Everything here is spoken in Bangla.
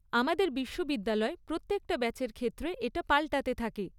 আমাদের বিশ্ববিদ্যালয় প্রত্যেকটা ব্যাচের ক্ষেত্রে এটা পাল্টাতে থাকে।